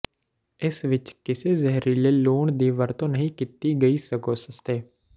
ਇਸ ਵਿਚ ਕਿਸੇ ਜ਼ਹਿਰੀਲੇ ਲੂਣ ਦੀ ਵਰਤੋਂ ਨਹੀਂ ਕੀਤੀ ਗਈ ਸਗੋਂ ਸਸਤੇ